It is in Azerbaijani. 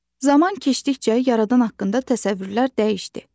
Zaman keçdikcə yaradan haqqında təsəvvürlər dəyişdi.